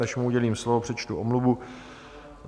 Než mu udělím slovo, přečtu omluvu.